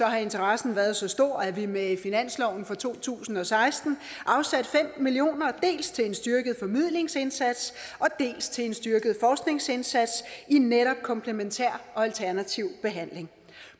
har interessen været så stor at vi med finansloven for to tusind og seksten afsatte fem million kroner dels til en styrket formidlingsindsats dels til en styrket forskningsindsats i netop komplementær og alternativ behandling